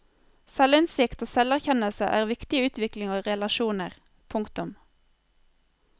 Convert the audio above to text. Selvinnsikt og selverkjennelse er viktig i utvikling av relasjoner. punktum